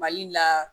Mali la